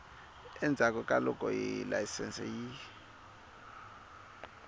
endzhaku ka loko layisense yi